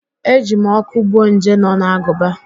E ji m ọkụ gbuo nje nọ n'agụba